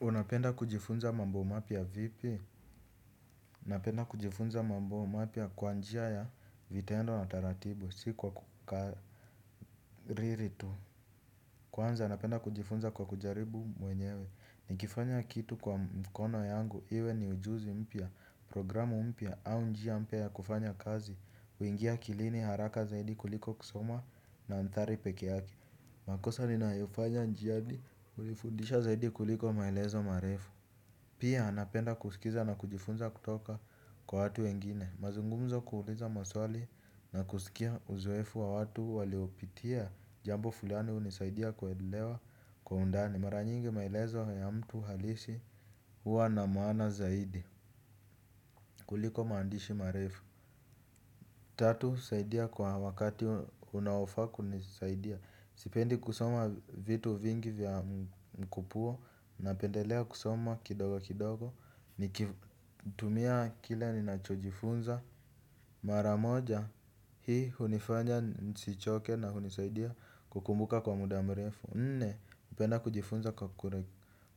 Unapenda kujifunza mambo mapya vipi? Napenda kujifunza mambo mapya kwa njia ya vitendo na taratibu, si kwa kukariri tu. Kwanza, napenda kujifunza kwa kujaribu mwenyewe. Nikifanya kitu kwa mkono yangu, iwe ni ujuzi mpya, programu mpya, au njia mpya ya kufanya kazi. Uingia akilini haraka zaidi kuliko kusoma nadhari pekeyake. Makosa ninayoifanya njiani hunifundisha zaidi kuliko maelezo marefu. Pia napenda kusikiza na kujifunza kutoka kwa watu wengine. Mazungumzo kuuliza maswali na kusikia uzoefu wa watu waliopitia jambo fulani hunisaidia kuelewa kwa undani. Mara nyingi maelezo ya mtu halisi huwa na maana zaidi kuliko maandishi marefu. Tatu, saidia kwa wakati unaofaa kunisaidia sipendi kusoma vitu vingi vya mkupuo. Napendelea kusoma kidogo kidogo. Nikitumia kile ninacho jifunza mara moja, hii hunifanya nisichoke na hunisaidia kukumbuka kwa muda mrefu nne, hupenda kujifunza kwa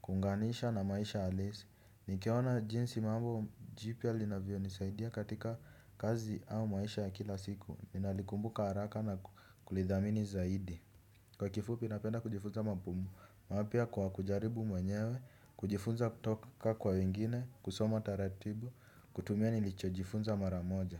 kuunganisha na maisha halisi. Nikiona jinsi mambo jipya linavyo nisaidia katika kazi au maisha ya kila siku ninalikumbuka haraka na kulidhamini zaidi. Kwa kifupi napenda kujifunza mambo mapya kwa kujaribu mwenyewe. Kujifunza kutoka kwa wengine kusoma taratibu kutumia nilichojifunza mara moja.